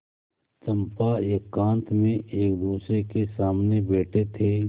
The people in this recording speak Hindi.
चंपा एकांत में एकदूसरे के सामने बैठे थे